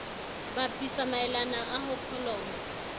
bapisa maelana a ho kholomo